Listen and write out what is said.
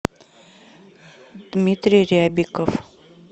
дмитрий рябиков